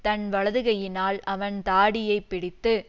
தன் வலதுகையினால் அவன் தாடியை பிடித்து